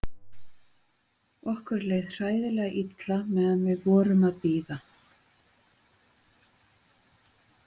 Okkur leið hræðilega illa meðan við vorum að bíða.